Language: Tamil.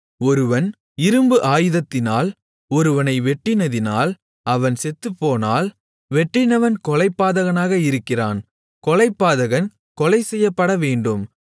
ஒருவன் இரும்பு ஆயுதத்தினால் ஒருவனை வெட்டினதினால் அவன் செத்துப்போனால் வெட்டினவன் கொலைபாதகனாக இருக்கிறான் கொலைபாதகன் கொலைசெய்யப்படவேண்டும்